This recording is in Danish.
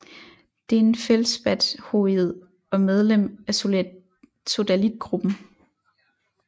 Det er en feldspathoid og medlem af sodalitgruppen